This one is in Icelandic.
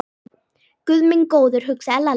Guð minn góður, hugsaði Lalli.